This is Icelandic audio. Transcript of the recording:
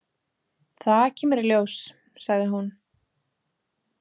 Það kemur í ljós, sagði hún.